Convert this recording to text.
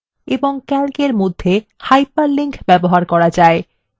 calcএর মধ্যে hyperlinks ব্যবহার করা যায়